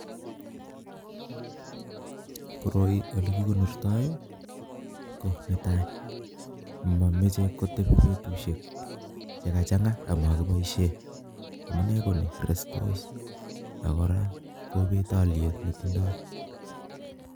Koroii olee kii konortoi ko netai mameche kotebi betushek che kachang'a ama kiiboisei amuu nee konii restos ak ko kora kobet alyet nee tindoi